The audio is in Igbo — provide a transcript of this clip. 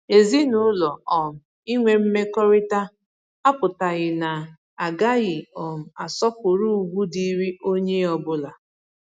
Ezinụlọ um inwe mmekọrịta apụtaghị na agaghị um asọpụrụ ugwu dịịrị onye ọbụla